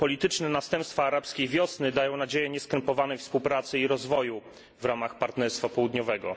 Polityczne następstwa Arabskiej Wiosny dają nadzieję nieskrępowanej współpracy i rozwoju w ramach Partnerstwa Południowego.